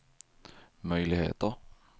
möjligheter